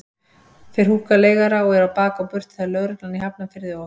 Þeir húkka leigara og eru á bak og burt þegar lögreglan í Hafnarfirði og